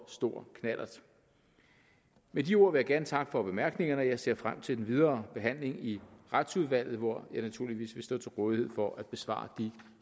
stor knallert med de ord vil jeg gerne takke for bemærkningerne og jeg ser frem til den videre behandling i retsudvalget hvor jeg naturligvis vil stå til rådighed for at besvare de